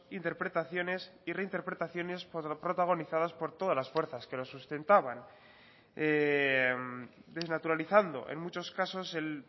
interpretaciones y reinterpretaciones protagonizadas por todas las fuerzas que lo sustentaban desnaturalizando en muchos casos el